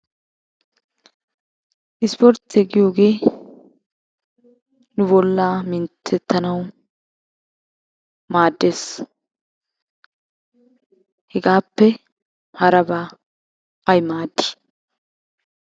Ispportte giyoogee nu bollaa minttettanawu maaddes. Hegaappe harabaa ay maaddi?